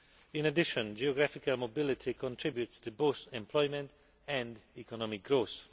In addition, geographical mobility contributes to both employment and economic growth.